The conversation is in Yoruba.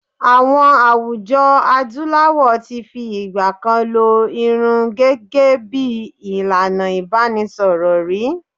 IÀwọn àwùjọ Adúláwọ̀ ti fi ìgbà kan lo irun gẹhgẹ́ bí ìlànà ìbánisọ̀rọ̀ rí.